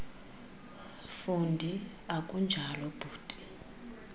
fundi akunjalo bhuti